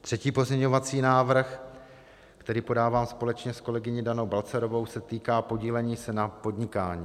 Třetí pozměňovací návrh, který podávám společně s kolegyní Danou Balcarovou, se týká podílení se na podnikání.